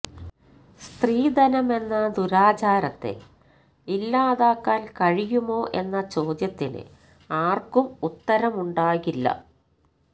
സ്ത്രീധനമെന്ന ദുരാചാരത്തെ ഇല്ലാതാക്കാൻ കഴിയുമോ എന്ന ചോദ്യത്തിന് ആർക്കും ഉത്തരമുണ്ടാകില്ല